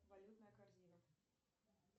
валютная корзина